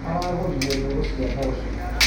Aragũrire mbegũ cia mboco.